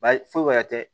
Ba ye foyi wɛrɛ tɛ